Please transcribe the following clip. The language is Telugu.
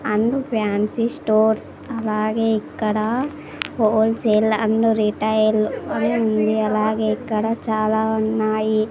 అండ్ ఫాన్సీ స్టోర్స్ అలాగే ఇక్కడ హోల్సేల్ అండ్ రిటైల్ అని ఉంది అలాగే ఇక్కడ చాలా ఉన్నాయి.